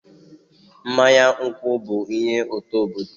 Mmanya nkwụ bụ ihe ụtọ obodo.